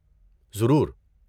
ضرور۔